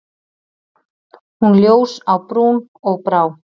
Hún ljós á brún og brá.